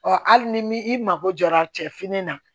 hali ni i mago jɔra cɛfini na